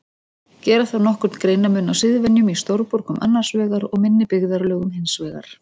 Gera þarf nokkurn greinarmun á siðvenjum í stórborgum annars vegar og minni byggðarlögum hins vegar.